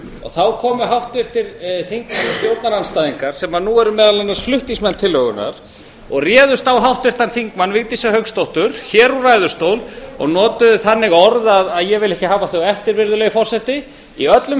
þá komu háttvirtir þingmenn stjórnarandstæðingar sem nú eru meðal annars flutningsmenn tillögunnar og réðust á háttvirtan þingmann vigdísi hauksdóttur hér úr ræðustól og notuðu þannig orð að ég vil ekki hafa þau eftir virðulegi forseti í öllum